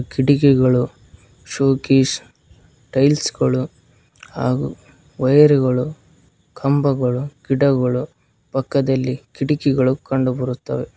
ಕಿಟಕಿಗಳು showcase tiles ಗಳು ಹಾಗು ವಾಯರ್ ಗಳು ಕಂಬಗಳು ಗಿಡಗಳು ಪಕ್ಕದಲ್ಲಿ ಕಿಡಕಿಗಳು ಕಂಡು ಬರುತ್ತವೆ.